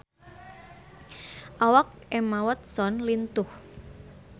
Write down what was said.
Awak Emma Watson lintuh